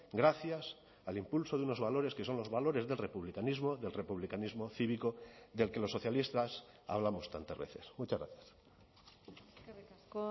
gracias al impulso de unos valores que son los valores del republicanismo del republicanismo cívico del que los socialistas hablamos tantas veces muchas gracias eskerrik asko